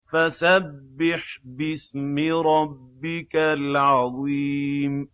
فَسَبِّحْ بِاسْمِ رَبِّكَ الْعَظِيمِ